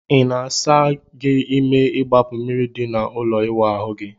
Ị na-asa gị ime igbapu mmiri di na ụlọ ịwụ ahu gi?